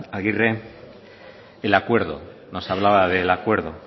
agirre el acuerdo nos hablaba del acuerdo